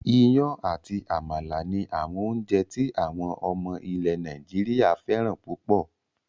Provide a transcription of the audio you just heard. Iyán àti àmàlà ni àwọn oúnjẹ tí àwọn ọmọ ilẹ̀ Nàìjíríà fẹ́ràn púpọ̀